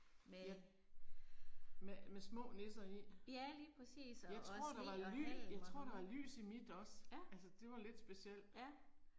Jeg. Med med små nisser i. Jeg tror der var ly jeg tror der var lys i mit også altså det var lidt specielt